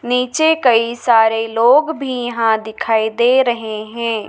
नीचे कई सारे लोग भी यहां दिखाई दे रहे हैं।